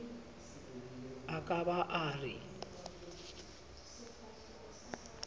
a ka ba a re